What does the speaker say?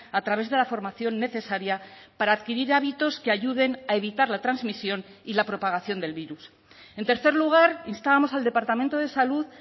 a través de la formación necesaria para adquirir hábitos que ayuden a evitar la transmisión y la propagación del virus en tercer lugar instábamos al departamento de salud